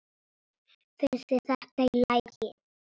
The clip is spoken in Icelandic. Finnst þér þetta í lagi?